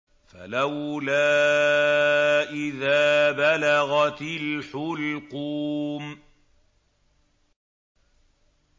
فَلَوْلَا إِذَا بَلَغَتِ الْحُلْقُومَ